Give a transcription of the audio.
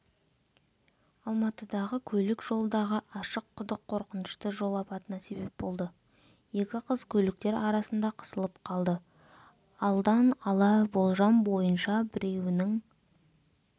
алматыдағы көлік жолдағы ашық құдық қорқынышты жол апатына себеп болды екі қыз көліктер арасында қысылып қалды алдан ала болжам бойынша біреуінің